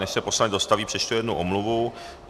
Než se poslanci dostaví, přečtu jednu omluvu.